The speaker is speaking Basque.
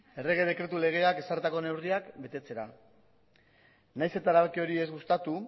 errege dekretu legeak ezarritako neurriak betetzera nahiz eta erabaki hori ez gustatu